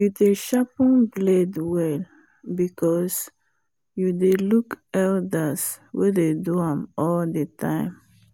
you dey sharpen blade well because you dey look elders wen dey do am all the time